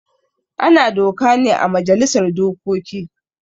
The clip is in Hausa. Ana doka ne ã majalisar dokoki.